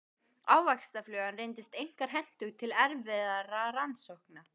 Ávaxtaflugan reyndist einkar hentug til erfðarannsókna.